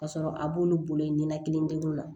Ka sɔrɔ a b'olu bolo ye ninakili degun la